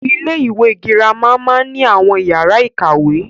Ilé-ìwé girama máa ni àwọn yàrá ìkàwé.